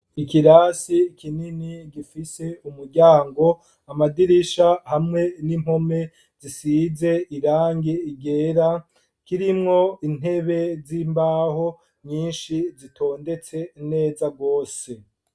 Ikirasi kinini, gifise umuryango, amadirisha, hamwe n'impome zisize irangi ryera; kirimwo intebe z'imbaho, nyinshi, zitondetse neza rwose.